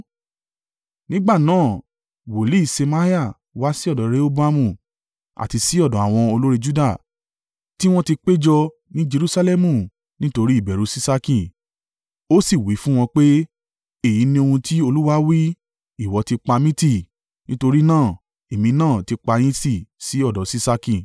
Nígbà náà, wòlíì Ṣemaiah wá sí ọ̀dọ̀ Rehoboamu àti sí ọ̀dọ̀ àwọn olórí Juda tí wọ́n ti péjọ ní Jerusalẹmu nítorí ìbẹ̀rù Ṣiṣaki, ó sì wí fún wọn pé, “Èyí ni ohun tí Olúwa wí: ìwọ ti pa mí tì; nítorí náà èmi náà ti pa yín tì sí ọ̀dọ̀ Ṣiṣaki.”